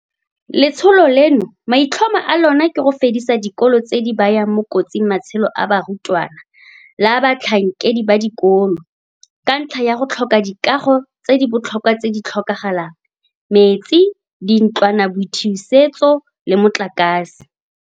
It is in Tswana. Letsholo leno maitlhomo a lona ke go fedisa dikolo tse di bayang mo kotsing matshelo a barutwana le a batlhankedi ba dikolo, ka ntlha ya go tlhoka dikago tse di botlhokwa tse di tlhokagalang, metsi, dintlwanaboithusetso le motlakase.